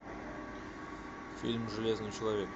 фильм железный человек